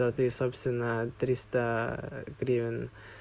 а ты собственно триста гривен